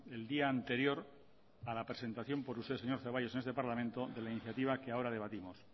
el día anterior a la presentación por usted señor zaballos en este parlamento de la iniciativa que ahora debatimos